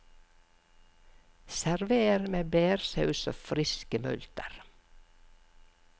Server med bærsaus og friske multer.